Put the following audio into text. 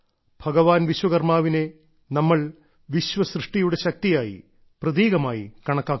ഭഗവാൻ വിശ്വകർമ്മാവിനെ നമ്മൾ വിശ്വസൃഷ്ടിയുടെ ശക്തിയായി പ്രതീകമായി കണക്കാക്കുന്നു